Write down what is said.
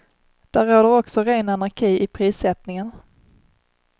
Där råder också ren anarki i prissättningen.